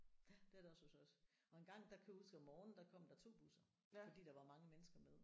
Ja det er det også hos os og engang der kan jeg huske om morgenen der kom der 2 busser fordi der var mange mennesker med